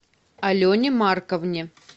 алене марковне